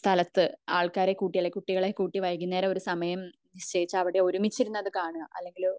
സ്ഥലത്തു ഏഹ്ഹ് ആൾക്കാരെ കൂട്ടി അല്ലെങ്കിൽ കുട്ടികളെ കൂട്ടി വൈകുന്നേരം ഒരു സമയത് അവിടെ ഒരുമിച്ച് ഇരുന്ന് അത് കാണാ അല്ലെങ്കില്